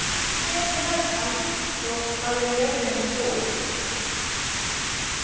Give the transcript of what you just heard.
Fannþór, hvað er jörðin stór?